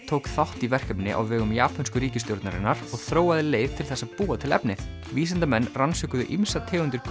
tók þátt í verkefni á vegum japönsku ríkisstjórnarinnar og þróaði leið til þess að búa til efnið vísindamenn rannsökuðu ýmsar tegundir